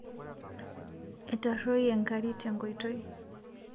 Etaroyie nkari tenkoitei